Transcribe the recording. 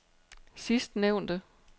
sidstnævnte